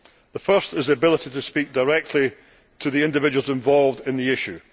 The first is the ability to speak directly to the individuals involved in the issue.